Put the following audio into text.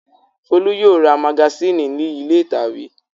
Folú yóò ra magasínì ní ilé ìtàwé.